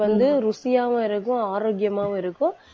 அது வந்து ருசியாவும் இருக்கும், ஆரோக்கியமாவும் இருக்கும்.